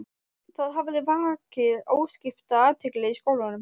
Það hafði vakið óskipta athygli í skólanum.